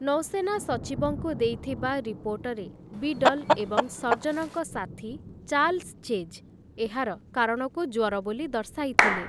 ନୌସେନା ସଚିବଙ୍କୁ ଦେଇଥିବା ରିପୋର୍ଟରେ ବିଡଲ୍ ଏବଂ ସର୍ଜନଙ୍କ ସାଥୀ ଚାର୍ଲ୍ସ ଚେଜ୍ ଏହାର କାରଣକୁ ଜ୍ୱର ବୋଲି ଦର୍ଶାଇଥିଲେ ।